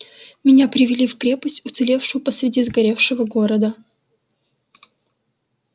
меня привели в крепость уцелевшую посереди сгоревшего города